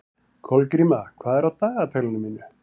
Kolgríma, hvað er á dagatalinu í dag?